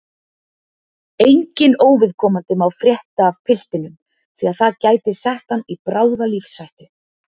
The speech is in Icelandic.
Enginn óviðkomandi má frétta af piltinum því að það gæti sett hann í bráða lífshættu